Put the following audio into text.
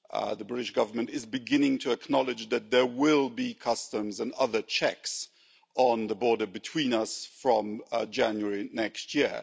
The British Government is beginning to acknowledge that there will be customs and other checks on the border between us from January next year.